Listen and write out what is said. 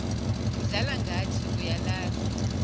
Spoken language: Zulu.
udlala ngathi uyalazi